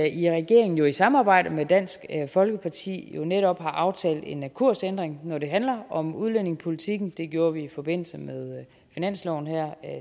i regeringen i samarbejde med dansk folkeparti netop har aftalt en kursændring når det handler om udlændingepolitikken det gjorde vi i forbindelse med finansloven her